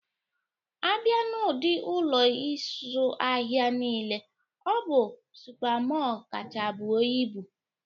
A bịa n'ụdi Ụlọ ịzụ ahịa nile, ọ bụ Supa Mọl kacha buo ibu